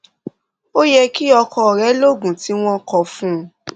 ó yẹ kí ọkọ rẹ lo oògùn tí wọn kọ fún un